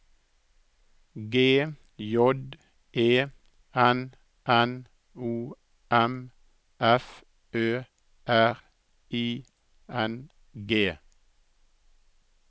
G J E N N O M F Ø R I N G